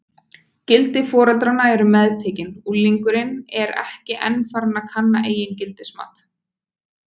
Gildi foreldranna eru meðtekin, unglingurinn er enn ekki farinn að kanna eigin gildismat.